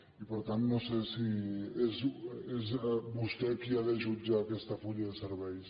i per tant no sé si és vostè qui ha de jutjar aquest full de serveis